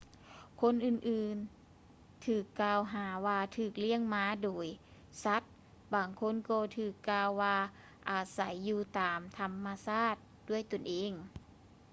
ຄົນອື່ນໆຖືກກ່າວຫາວ່າຖືກລ້ຽງມາໂດຍສັດ ບາງຄົນກໍຖືກກ່າວວ່າອາໄສຢູ່ຕາມທຳມະຊາດດ້ວຍຕົນເອງ